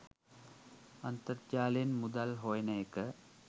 අන්තර්ජාලයෙන් මුදල් හොයන එක